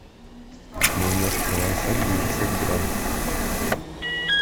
майонез провансаль девятьсот грамм